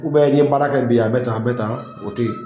U bɛ i ye baara kɛ bi a bɛ tan a bɛ tan o to yen